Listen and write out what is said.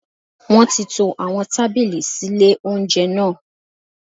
Wọ́n ti to àwọn tábìlì sí lé oúnjẹ náà